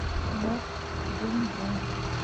норд думдум